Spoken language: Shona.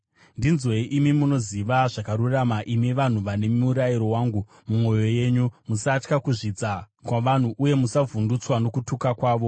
“Ndinzwei, imi munoziva zvakarurama, imi vanhu vane murayiro wangu mumwoyo yenyu: Musatya kuzvidza kwavanhu, uye musavhundutswa nokutuka kwavo.